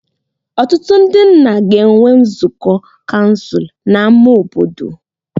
Ọtụtụ ndị nna ga-enwe nzukọ kansụl n'ámá obodo.